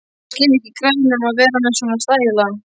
Ég skil ekki í gæjanum að vera með svona stæla!